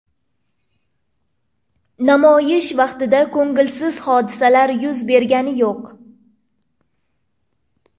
Namoyish vaqtida ko‘ngilsiz hodisalar yuz bergani yo‘q.